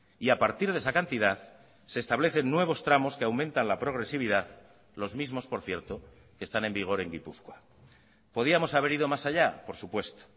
y a partir de esa cantidad se establecen nuevos tramos que aumentan la progresividad los mismos por cierto que están en vigor en gipuzkoa podíamos haber ido más allá por supuesto